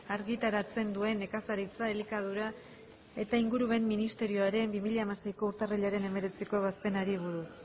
argitaratzen duen nekazaritza elikadura eta ingurumen ministerioaren bi mila hamaseiko urtarrilaren hemeretziko ebazpenari buruz